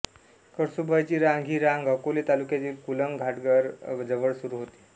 कळसूबाईची रांग ही रांग अकोले तालुक्यातील कुलंग घाटघर जवळ सुरू होते